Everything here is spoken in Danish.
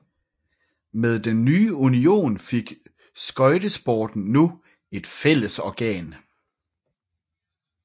Med den nye union fik skøjtesporten nu et fællesorgan